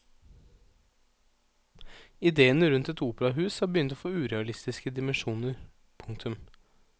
Idéene rundt et operahus har begynt å få urealistiske dimensjoner. punktum